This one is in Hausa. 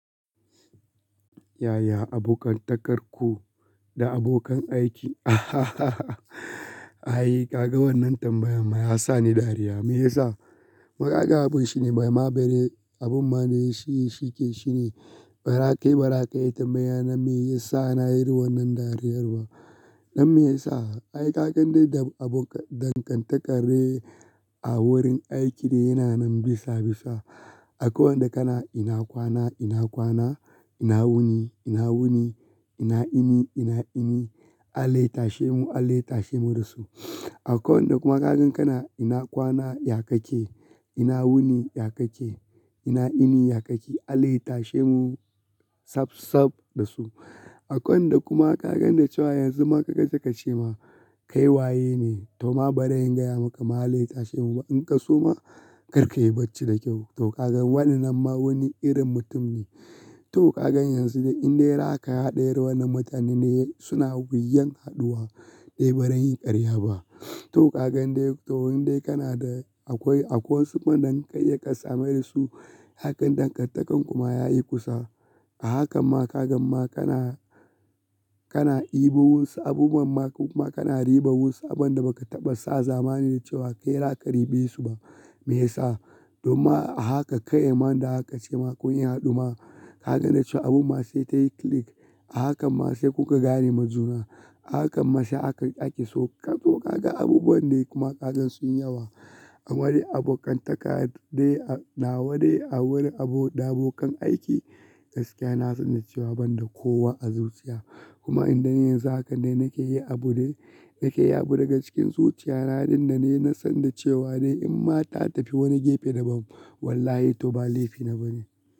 Yaya abokantakar ku da abokan aiki? Ai, ka ga wannan tambayan ma ya sa ni dariya. Me ya sa? Wai yaga abun shine, bai ma bere abun ma ne shi yake shine, barakai barakai tambaya na me ya sa na yi irin wannan dariyar ba. Dan me ya sa? Ai kagan dai da abokan dankan takarre a wurin aiki dai yana nan bisa bisa. Akwai wanda kana ina kwana, ina kwana, ina wuni, ina wuni, ina ini, ina ini, Allah ya tashi mu, Allah ya tashi mu da su. Akwai wanda kuma zakan kana ina kwana ya kake, ina wuni ya kake, ina ini ya kake, Allah ya tashi mu saf saf da su. Akwai wanda kuma kagan da cewa yanzu ma ka gan sai ka ce ma kai waye ne? To ma bari in gaya maka ma, Allah ya tashe mu ba. In ka so ma, karka yi bacci da kyau. To kagan wa'innan ma wani irin mutum ne. To kagan yanzu dai in dai har aka hada irin wa'innan mutane ne, suna wuya haduwa, ni baran yi karya ba. To kagan dai, to in dai kana da akwai akwai wasu in kuma idan ka iya ka samu irin su, hakan dankan takan kuma ya yi kusa. A hakan ma kagan ma kana, kana ibo wusu abubuwan ma ko kuma kana riban wasu abun da ba ka taɓa sa zamani da cewa kai raka ribe su ba. Me ya sa? Domin ma a haka kai ma da haka ce ma kun yi hadu ma. Kagan da cewa abun ma sai tayi click. A hakan ma sai kuka gane ma juna. A hakan ma sai aka, ake so. To kakan abubuwan dai kuma kagan sun yi yawa. A wani abokan taka dai a nawa dai, a wurin abo da abokan aiki, gaskiya na san da cewa ban da kowa a zuciya. Kuma in dan yanzu haka dai nake yi abu dai nake yi y aɓ bu daga cikin zuciya na dinnan ne inna san da cewa dai in ma ta tafi wani gefe daban, wallahi to ba laifi na ba ne.